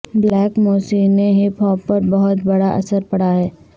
black موسی نے hip hop پر بہت بڑا اثر پڑا ہے